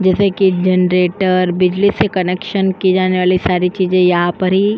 जैसे की जनरेटर बिजली के कनेक्शन की जाने वाली सारी चीजें यहाँ पर ही --